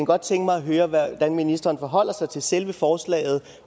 godt tænke mig at høre hvordan ministeren forholder sig til selve forslaget